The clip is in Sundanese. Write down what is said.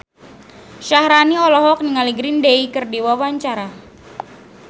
Syaharani olohok ningali Green Day keur diwawancara